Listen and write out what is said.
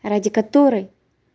ради которой